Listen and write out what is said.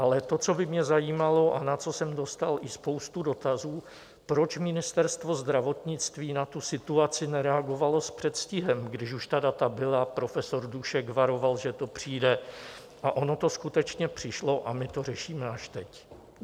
Ale to, co by mě zajímalo a na co jsem dostal i spoustu dotazů, proč Ministerstvo zdravotnictví na tu situaci nereagovalo s předstihem, když už ta data byla, profesor Dušek varoval, že to přijde, a ono to skutečně přišlo a my to řešíme až teď?